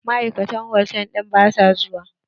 Ma'aikatan hotal ɗin ba su zo ba.